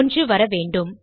1 வர வேண்டும்